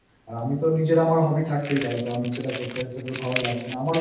আর আমার নিজের Hobby তো থাকতেই পারে তো আমি সেটা